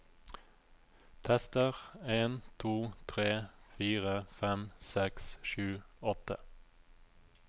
Tester en to tre fire fem seks sju åtte